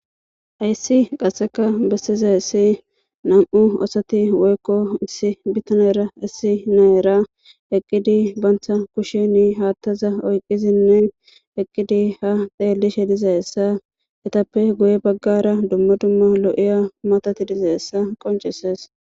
Hayssi qassekka bessizayssi issi nam'u assati woykko issi bitanera issi na'era eqqidi bantta kushsheni haattaza oyqidinne eqqidi ha xeellishshe dizayssa etappe guye baggara dumma dumma lo'iya matati dizayssa qoncesees